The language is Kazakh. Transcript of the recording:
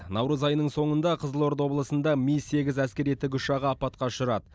наурыз айының соңында қызылорда облысында ми сегіз әскери тікұшағы апатқа ұшырады